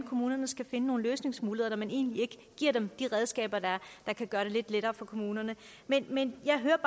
kommunerne skal finde nogle løsningsmuligheder når man egentlig ikke giver dem de redskaber der kan gøre det lidt lettere for kommunerne men jeg hører